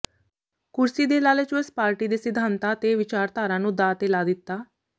ਕੁਰਸੀ ਦੇ ਲਾਲਚਵਸ ਪਾਰਟੀ ਦੇ ਸਿਧਾਂਤਾਂ ਤੇ ਵਿਚਾਰਧਾਰਾ ਨੂੰ ਦਾਅ ਤੇ ਲਾ ਦਿਤਾ